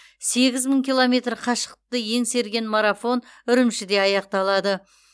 сегіз мың километр қашықтықты еңсерген марафон үрімжіде аяқталады